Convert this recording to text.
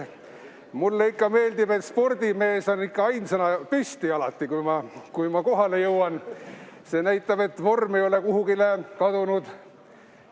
Mulle ikka meeldib, et kui ma kohale jõuan, siis spordimees on alati ainsana püsti See näitab, et vorm ei ole kuhugi kadunud.